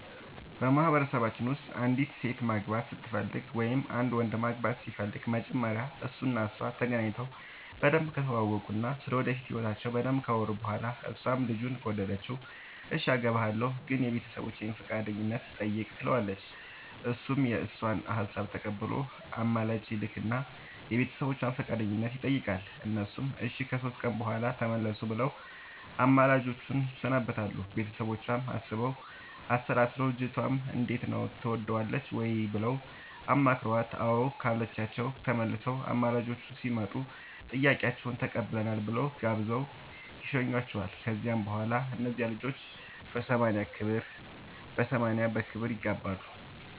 በማህበረሰባችን ውስጥ አንዲት ሴት ማግባት ስትፈልግ ወይም አንድ ወንድ ማግባት ሲፈልግ መጀመሪያ እሱ እና እሷ ተገናኝተው በደንብ ከተዋወቁ እና ስለ ወደፊት ህይወታቸው በደንብ ካወሩ በኋላ እሷም ልጁን ከወደደችው እሽ አገባሀለሁ ግን የቤተሰቦቼን ፈቃደኝነት ጠይቅ ትለዋለች እሱም የእሷን ሀሳብ ተቀብሎ አማላጅ ይልክ እና የቤተሰቦቿን ፈቃደኝነት ይጠይቃል እነሱም እሺ ከሶስት ቀን በኋላ ተመለሱ ብለው አማላጆቹን ያሰናብታሉ ቤተሰቦቿም አስበው አሠላስለው ልጅቷንም እንዴት ነው ትወጅዋለሽ ወይ ብለው አማክረዋት አዎ ካለቻቸው ተመልሰው አማላጆቹ ሲመጡ ጥያቄያችሁን ተቀብለናል ብለው ጋብዘው ይሸኙዋቸዋል ከዚያ በኋላ እነዚያ ልጆች በሰማንያ በክብር ይጋባሉ።